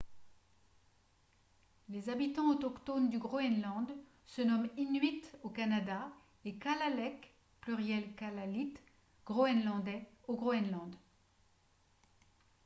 les habitants autochtones du groenland se nomment inuit au canada et kalaalleq pluriel kalaallit groenlandais au groenland